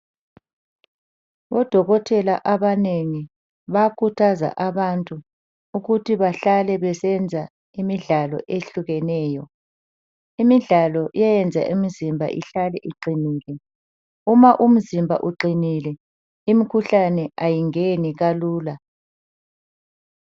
Odokotela abanegi bayakhuthaza abantu ukuthi bahlale besenza imidlalo ehlukeneyo, imidlalo iyayenza imizimba ihlale iqinile, uma umzimba uqinile imikhuhlane ayingeni kalula.